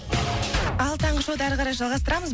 ал таңғы шоуды ары қарай жалғастырамыз